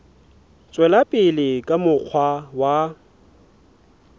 tswela pele ka mokgwa wa